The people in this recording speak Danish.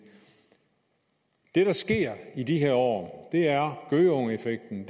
det der sker i de her år er gøgeungeeffekten